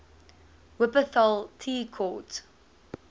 wupperthal tea court